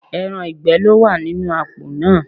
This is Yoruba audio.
Ẹran ìgbẹ́ ló wà nínú àpò náà